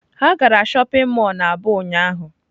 Ha gara shopping mall na aba ụnyahụ.